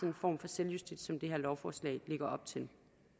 en form for selvjustits som det her lovforslag lægger op til